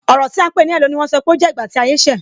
Ọrọ ti a ń pè ní "hello" ni wọ́n sọ pé ó jẹ́ ìgbà tí ayé ṣe.